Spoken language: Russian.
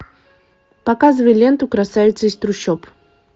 показывай ленту красавица из трущоб